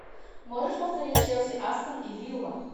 можешь повторить челси астон вилла